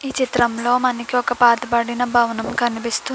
ఈ చిత్రంలో మనకి ఒక పాత పడిన భవనం కనిపిస్తు --